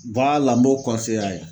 n b'o a ye.